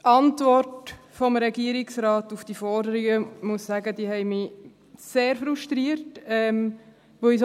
Die Antworten des Regierungsrates auf diese Forderungen haben mich sehr frustriert, muss ich sagen.